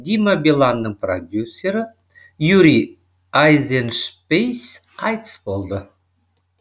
дима биланның продюсері юрий айзеншпис қайтыс болды